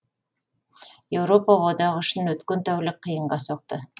еуропа одағы үшін өткен тәулік қиынға соқты